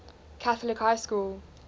catholic high school